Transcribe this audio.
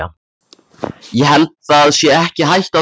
Ég held það sé ekki hætta á því.